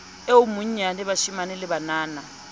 e monyane bashemane le banana